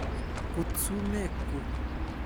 Kut sumeek kuk .